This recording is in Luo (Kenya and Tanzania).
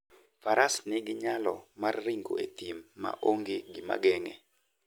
Faras nigi nyalo mar ringo e thim ma onge gima geng'e.